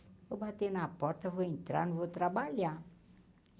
Vou bater na porta, vou entrar, não vou trabalhar.